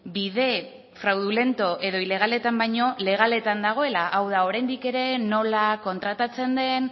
bide fraudulento edo ilegaletan baino legaletan dagoela hau da oraindik ere nola kontratatzen den